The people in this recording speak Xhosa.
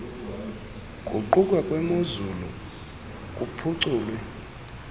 guquka kwemozulu kuphuculwe